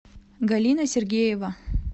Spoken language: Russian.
галина сергеева